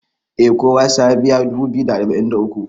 eh kowa sai ya biya dubu biyu da arba'in da uku